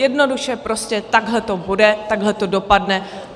Jednoduše, prostě takhle to bude, takhle to dopadne.